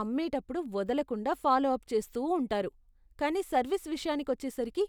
అమ్మేటప్పుడు వదలకుండా follow up చేస్తూ ఉంటారు, కానీ సర్వీస్ విషయానికి వచ్చేసరికి,